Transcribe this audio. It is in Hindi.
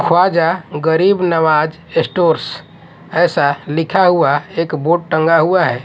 ख्वाजा गरीब नवाज स्टोर्स ऐसा लिखा हुआ एक बोर्ड टंगा हुआ है।